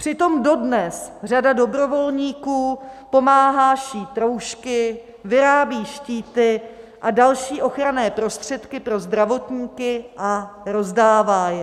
Přitom dodnes řada dobrovolníků pomáhá šít roušky, vyrábí štíty a další ochranné prostředky pro zdravotníky a rozdává je.